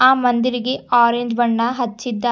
ಆ ಮಂದಿರಿಗೆ ಆರೆಂಜ್ ಬಣ್ಣ ಹಚ್ಚಿದ್ದಾರ್--